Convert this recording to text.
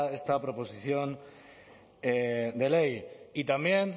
esta proposición de ley y también